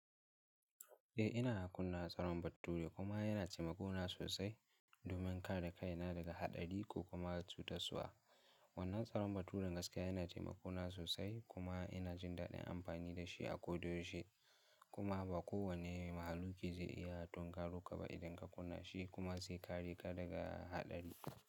Eh ina kunna tsaron baturi kuma yana taimako na sosai domin kare kaina daga haɗari ko kuma cuta-suwa. Wannan tsaron baturan gaskiya yana taimako na sosai kuma ina jin daɗin amfani da shi a ko da yaushe kuma ba kowane mahaluƙi zai iya tinkaro ka ba idan ka kunna shi kuma zai kare ka daga haɗari.